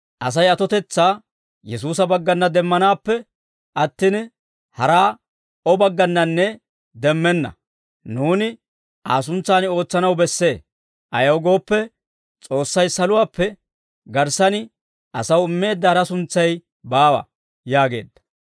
Asay atotetsaa Yesuusa baggana demmanaappe attin, hara O baggannanne demmenna; nuuni Aa suntsan ootsanaw bessee; ayaw gooppe, S'oossay saluwaappe garssan asaw immeedda hara suntsay baawa» yaageedda.